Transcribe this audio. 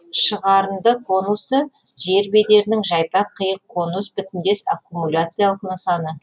шығарынды конусы жер бедерінің жайпақ қиық конус бітімдес аккумуляциялық нысаны